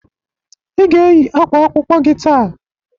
I ga eyi akwa akwụkwọ gị taa!